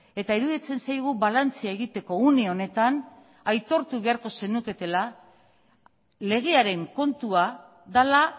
eta iruditzen zaigu balantzea egiteko une honetan aitortu beharko zenuketela legearen kontua dela